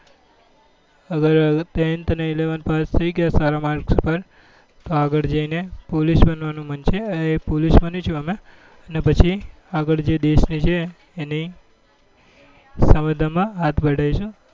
અગર tenth અને eleventh માં પાસ થઇ ગયા સારા માર્ક્સ પર તો આગળ જી ને પોલીસ બનવા નું મન છે એ પોલીસ બની છું અમે અને પછી આગળ જે દેશ ની છે એની સમાધા માં હાથ બધાઈ છું